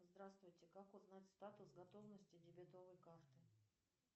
здравствуйте как узнать статус готовности дебетовой карты